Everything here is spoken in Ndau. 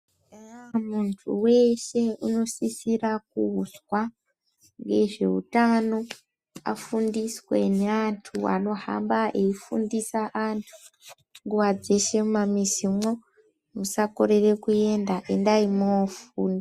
Muntu weshe unosisira kuzwa ngezveutano, afundiswe ngeantu anohamba eyifundise vantu nguva dzeshe mumamizimwo. Musakorere kuenda endai mwoofunda.